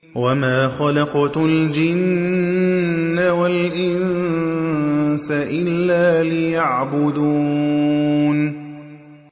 وَمَا خَلَقْتُ الْجِنَّ وَالْإِنسَ إِلَّا لِيَعْبُدُونِ